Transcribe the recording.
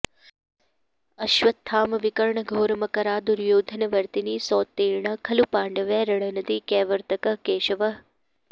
अश्वत्थामविकर्णघोरमकरा दुर्योधनावर्तिनी सोत्तीर्णा खलु पाण्डवै रणनदी कैवर्तकः केशवः